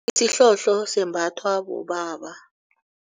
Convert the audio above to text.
Isihlohlo sembathwa bobaba.